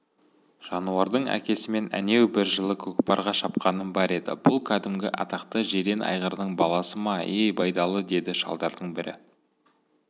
жануардың әкесімен әнеу бір жылы көкпарға шапқаным бар еді бұл кәдімгі атақты жирен айғырдың баласы ма-ей байдалы деді шалдардың бірі